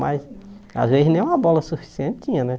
Mas às vezes nem uma bola suficiente tinha, né?